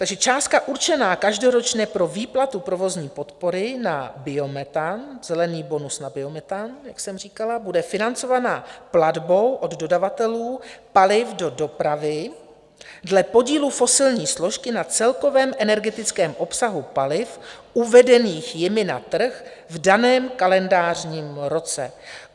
Takže částka určená každoročně pro výplatu provozní podpory na biometan, zelený bonus na biometan, jak jsem říkala, bude financovaná platbou od dodavatelů paliv do dopravy dle podílu fosilní složky na celkovém energetickém obsahu paliv uvedených jimi na trh v daném kalendářním roce.